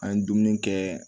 An ye dumuni kɛ